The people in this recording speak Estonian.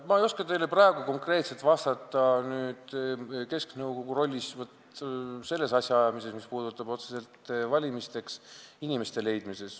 Ma ei oska teile praegu konkreetselt vastata kesknõukogu rolli kohta selles asjaajamises, mis puudutab otseselt inimeste otsimist valimiste jaoks.